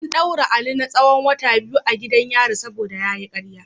An daure Ali na tsahon wata biyu a gidan yari saboda karya.